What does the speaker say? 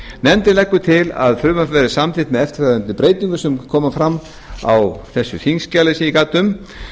nefndin leggur til að frumvarpið verði samþykkt með eftirfarandi breytingum sem koma fram á þessu þingskjali sem ég gat um